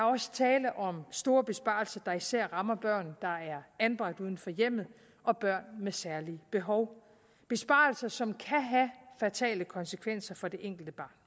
også tale om store besparelser der især rammer børn der er anbragt uden for hjemmet og børn med særlige behov besparelser som kan have fatale konsekvenser for det enkelte barn